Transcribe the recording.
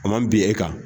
A man bin e kan